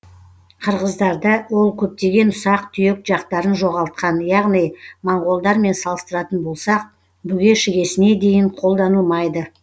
қырғыздарда ол көптеген ұсақ түйек жақтарын жоғалтқан яғни моңғолдармен салыстыратын болсақ бүге шігесіне дейін қолданылмайды